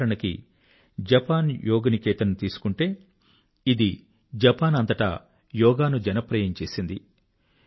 ఉదాహరణకు జపాన్ యోగ్ నికేతన్ తీసుకుంటే ఇది జపాన్ అంతటా యోగాను జనప్రియం చేసింది